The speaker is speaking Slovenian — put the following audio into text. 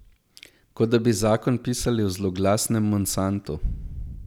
Kot da bi zakon pisali v zloglasnem Monsantu.